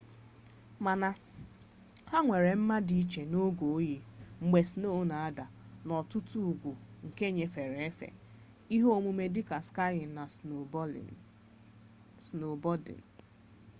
mana ha nwere mma dị iche n'oge oyi mgbe sno na-ada n'ọtụtụ ugwu were nyefe efe msks ihe omume dịka skiyin na snobọdịn